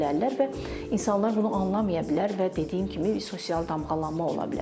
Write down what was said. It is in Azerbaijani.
Və insanlar bunu anlamaya bilər və dediyim kimi sosial damğalanma ola bilər.